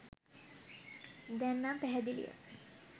දැන් නන් පැහැදිලිය